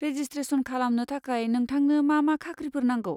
Registration खालामनो थाखाय नोंथांनो मा मा खाख्रिफोर नांगौ?